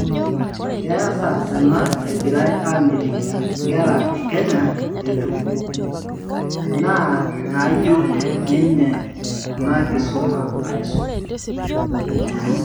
Keasa enaa egirai amitiki nkera e Kenya etum, naa nayiew ninye ena kisuma aisul.